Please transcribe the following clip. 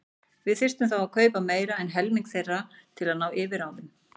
Við þyrftum þá að kaupa meira en helming þeirra til að ná yfirráðum.